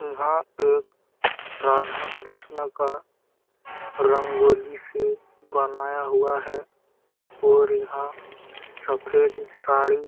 इहा एक राधा कृष्ण का रंगोली सी बनाया हुआ है और यहाँ सफेद साड़ी--